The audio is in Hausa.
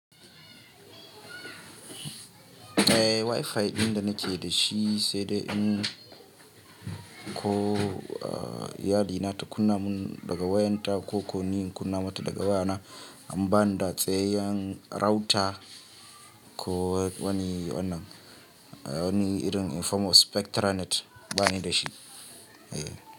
Eh Wi-Fi ɗin da nake da shi sai dai in ko iyali na ta kunna mun daga wayan ta ko ko ni in kunna mata daga wayana dan ba ni da tsayaiyan router ko wani wannan, wani irin form of Spectra net bani da shi.